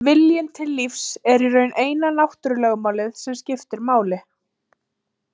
Viljinn til lífs er í raun eina náttúrulögmálið sem skiptir máli.